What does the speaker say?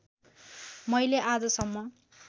मैले आज सम्म